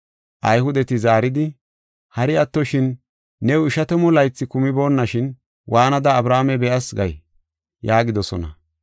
Ayhudeti zaaridi, “Hari attoshin, new ishatamu laythi kumibeenashin waanada Abrahaame be7as gay?” yaagidosona.